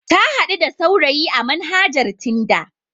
Ta haɗu da saurayi a manhajar tinda.